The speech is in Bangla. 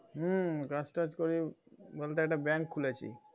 হুম কাজটাজ করি বলতে একটা bank খুলেছি